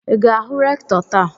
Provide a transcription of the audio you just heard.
I ga-ahụ rektọ taa?